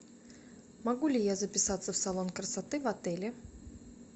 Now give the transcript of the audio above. могу ли я записаться в салон красоты в отеле